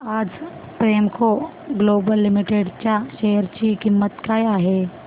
आज Premco global limited च्या share ची किंमत काय आहे